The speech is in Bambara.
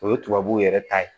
O ye tubabuw yɛrɛ ta ye